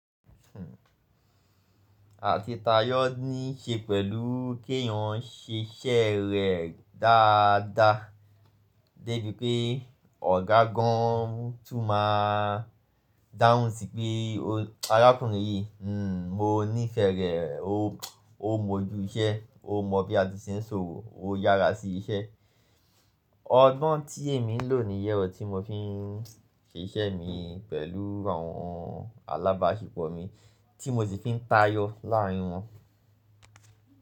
Àti tayọ níí ṣe pẹ̀lú kí èèyàn ṣe iṣẹ́ rẹ̀ dáadáa. Débi pé ọ̀gá gan-an tún máa dáhùn sí pé arákùnrin yìí, mm, mo nífẹ̀ẹ́ rẹ̀, ó mọju iṣẹ́, ó mọ bí a ti ṣe ń sọ òrò, ó yára sí iṣẹ́. Ọgbọ́n tí èmi ń lò níyẹ̀rọ tí mo fi ń ṣe iṣẹ́ mi pẹ̀lú àwọn alábáṣepọ̀ mi, tí mo sì fi ń tayọ láàárín wọn.